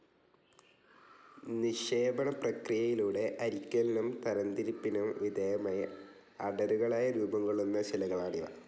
നിക്ഷേപണപ്രക്രിയയിലൂടെ അരിക്കലിനും തരംതിരിപ്പിനും വിധേയമായി അടരുകളായി രൂപം കൊള്ളുന്ന ശിലകളാണിവ.